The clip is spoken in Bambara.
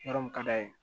Yɔrɔ min ka d'a ye